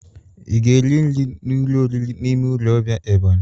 I ga-eri nri n'ụlọ oriri n'ime ụlọ ọbia Ebonyi?